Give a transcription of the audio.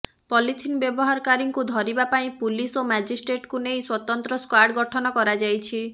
polythene ବ୍ୟବହାରକାରୀଙ୍କୁ ଧରିବା ପାଇଁ ପୁଲିସ ଓ ମାଜିଷ୍ଟ୍ରେଟଙ୍କୁ ନେଇ ସ୍ୱତନ୍ତ୍ର ସ୍କ୍ୱାର୍ଡ଼ ଗଠନ କରାଯାଇଛି